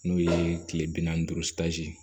N'o ye kile bi naani ni duuru